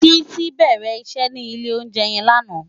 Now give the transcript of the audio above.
Titi bèrè iṣè ni ilé óunjè yèn làná